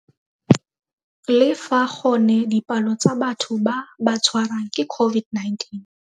Le fa gone dipalo tsa batho ba ba tshwarwang ke COVID-19.